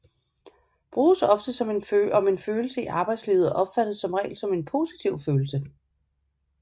Bruges ofte om en følelse i arbejdslivet og opfattes som regel som en positiv følelse